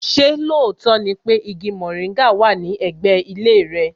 Ṣé lóòótọ́ ni pé igi mòríngà wà ní ẹ̀gbẹ́ ilé rẹ?